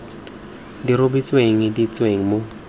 di rebotsweng di tsenngwa mo